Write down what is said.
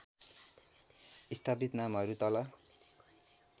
स्थापित नामहरू तल